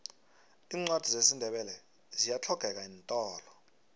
iincwadi zesindebele ziyahlogeka eentolo